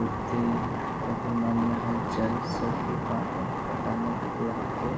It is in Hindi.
बहुत ही अभी मन में हलचल सभी बातों को बताने के लिए यहाँ पे --